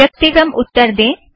व्यक्तिक्रम उत्तर दें